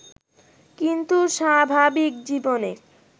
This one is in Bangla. কিন্তু স্বাভাবিক জীবনে